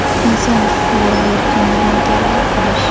Inson huquqlari va erkinligini targ‘ib qilish.